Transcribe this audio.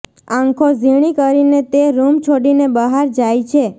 આંખો ઝીણી કરીને તે રૂમ છોડીને બહાર જાય છે